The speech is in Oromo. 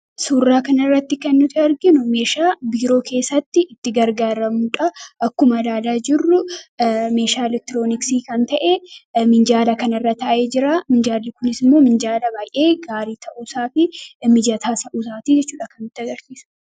Suurraa kana irratti kan nuti arginu meeshaa biiroo keessatti itti gargaaramnuu dha. Akkuma ilaalaa jirru meeshaa elektirooniksii kan ta'e minjaala kanarra taa'ee jiraa. Minjaalli kunis immoo minjaala baay'ee gaarii ta'uusaa fi mijataa ta'uusaatii jechuu dha kan nutti agarsiisu.